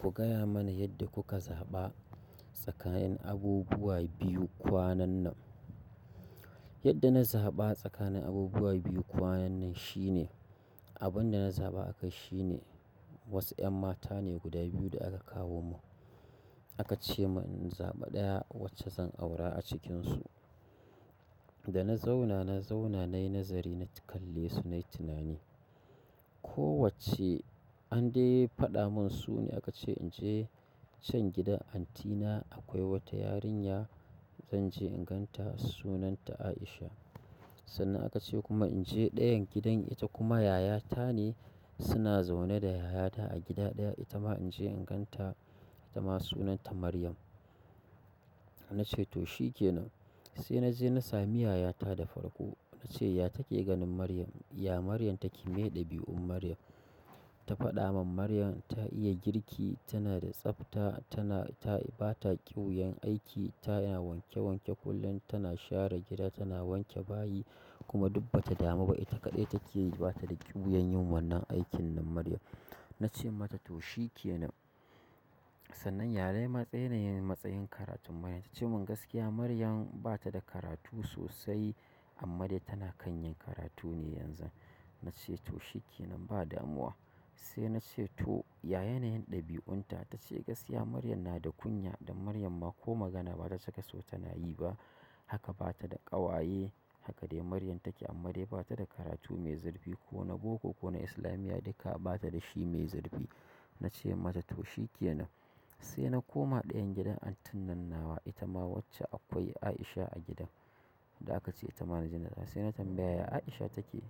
Ku gaya mana yadda kuka zaɓa tsakanin abubuwa biyu kwanan nan. Yadda na zaɓa tsakanin abubuwa biyu kwanan nan shine, abun da na zaɓa akai shi ne wasu 'yan mata ne guda biyu da aka kawo man. A ka ce man in zaɓi ɗaya wacce zan aura a cikinsu. Da na zauna, na zauna nayi nazari, na kalle su nayi tunani. Kowacce an dai faɗa mun su ne aka ce in je can gidan anti na akwai wata yarinya zan je in ganta sunanta Aisha. Sannan aka ce kuma in je ɗayan gidan ita kuma yaya ta ne suna zaune da yayata a gida ɗaya ita ma in je in ganta ita ma sunanta Maryam, na ce to shi kenan. Sai na je na sami yayata da farko. Na ce ya take ganin Maryam? Ya Maryam take mai ɗabi'un Maryam. Ta faɗa mun Maryam ta iya girki, tana da tsafta, tana ta bata kiwuyan aiki, ta, na wanke wanke kullum, tana share gida, tana wanke bayi kuma dubba ta damu ba. Ita kaɗai take yi bata da kiwuyan yin wannan aikin nan Maryam na ce mata to shi ke nan. Sannan yare ma tse yin matsayin karatun Maryam. Ta ce mun gaskiya Maryam bata da karatu sosai amma dai tana kan yin karatu ne yanzu. Na ce to shi ke nan ba damuwa. Sai na ce to ya yanayin ɗabi'un ta? Ta ce gaskiya Maryam na da kunya dan Maryam ma ko magana bata saka so tana yi ba. Haka bata da ƙawaye. Haka dai Maryam take amma dai bata da karatu mai zurfi ko na boko ko na islamiyya duka bata da shi mai zurfi. Na ce mata to shi ke nan. Sai na koma ɗayan gidan antin nan nawa ita ma wacce akwai Aisha a gidan da aka ce ita ma naje nan. Sai na tambaya ya Aisha take.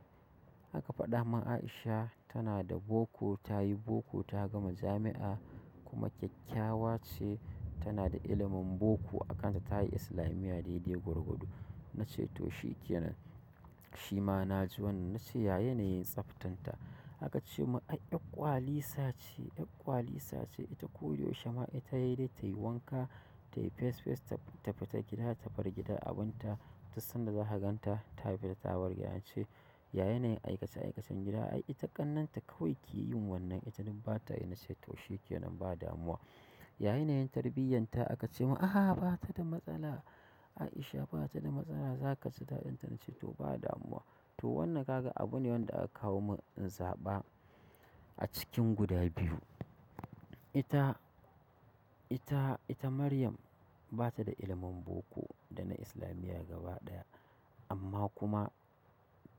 Aka faɗa mun Aisha tana da boko, ta yi boko, ta gama jami'a kuma kyakkyawa ce, tana da ilimin boko, a kan ta ta yi islamiyya dai-dai gwargwado, na ce to shi kenan. Shi ma na ji wannan. Na ce ya yanayin tsaftan ta? Aka ce mun ai 'yar ƙwali sa ce, 'yar ƙwali sa ce. Ita koda yaushe ma ita yai dai tayi wanka, tayi fes fes, ta fita gida, ta bar gida abin ta, dussan da zaka ganta. Ta fita ta wargiye. Na ce ya yanayin aikace aikacen gida? Ai ita ƙannanta kawai ke yin wannan. Ita dun bata yi na ce to shi ke nan ba damuwa, ya yanayin tarbiyyar ta? Aka ce mun ahaa bata da matsala. Aisha bata da matsala zaka ji daɗin ta na ce to ba damuwa. To wannan kaga abu ne wanda aka kawo man in zaɓa a cikin guda biyu. Ita, ita, ita Maryam bata da ilimin boko da na islamiyya gaba ɗaya amma kuma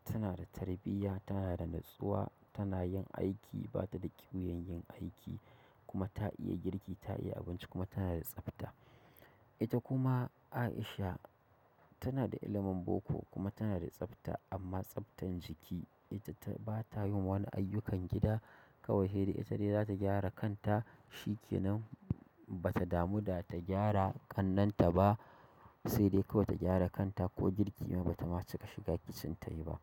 tana da tarbiyya, tana da natsuwa, tana yin aiki, bata da kiwuyan yin aiki kuma ta iya girki, ta iya abinci kuma tana da tsafta. Ita kuma Aisha tana da ilimin boko kuma tana da tsafta amma tsaftan jiki. Ita ta bata yin wani aiyukan gida kawai hai dai ita dai zata gyara kan ta, shi kenan bata damu da ta gyara ƙannen ta ba sai dai kawai ta gyara kan ta ko girki ma bata ma cika shiga kicin tayi ba.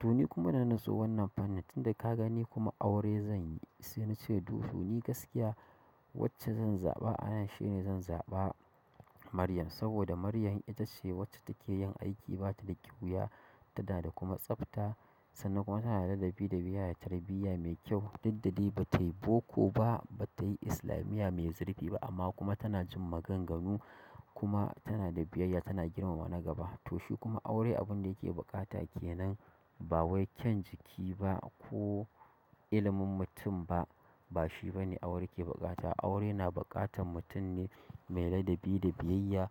To ni kuma dana natsu wannan fannin tunda ka gani kuma aure zan yi. Sai na ce duhu ni gaskiya wacce zan zaɓa anan shine zan zaɓa Maryam saboda Maryam ita ce wacce take yin aiki bata da kiwuya, tana da kuma tsafta sannan kuma tana da ladabi da biyayya, tarbiyya mai kyau. Dud dadai ba tayi boko ba, bata yi islamiyya mai zurfi ba amma kuma tana jin maganganu kuma tana da biyayya, tana girmama na gaba. To shi kuma aure abun da yake buƙata kenan ba wai kyan jiki ba ko ilimin mutum ba, ba shi bane aure ke buƙata. Aure na buƙatan mutun ne mai ladabi da biyayya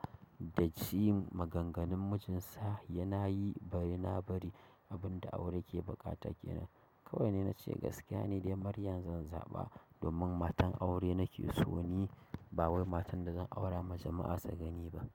da jin maganganun mijin sa yana yi bari na bari abin da aure ke buƙata kenan. Kawai ni, na ce gaskiya ne dai Maryam zan zaɓa domin matan aure nake so ni ba wai matan da zan aura majama'a su gani ba.